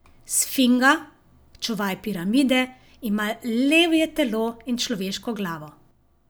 Sfinga, čuvaj piramide, ima levje telo in človeško glavo.